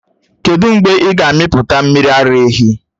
Kedụ mgbe ị ga-amịpụta mmiri ara ehi?